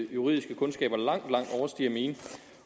juridiske kundskaber langt langt overstiger mine